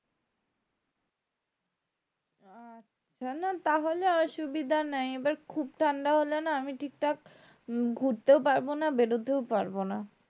আহ না না তাহলে অসুবিধা নাই এবার খুব ঠান্ডা হলে না আমি ঠিকঠাক ঘুরতেও পারবো না বেরোতেও পারবো না